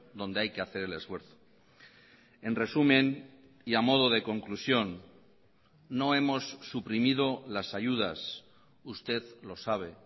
donde hay que hacer el esfuerzo en resumen y a modo de conclusión no hemos suprimido las ayudas usted lo sabe